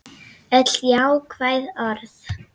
Öll jákvæð orð.